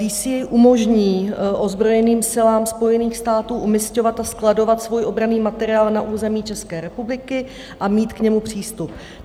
DCA umožní ozbrojeným silám Spojených států umisťovat a skladovat svůj obranný materiál na území České republiky a mít k němu přístup.